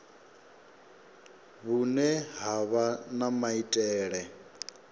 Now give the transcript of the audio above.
vhune ha vha na maitele